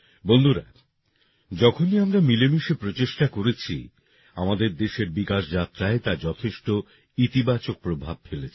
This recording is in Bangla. বন্ধুরা যখনই আমরা মিলেমিশে প্রচেষ্টা করেছি আমাদের দেশের বিকাশ যাত্রায় তা যথেষ্ট ইতিবাচক প্রভাব ফেলেছে